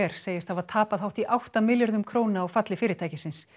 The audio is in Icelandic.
segist hafa tapað hátt í átta milljörðum króna á falli fyrirtækisins